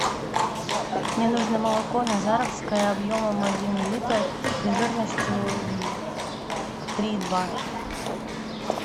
мне нужно молоко назаровское объемом один литр и жирностью три и два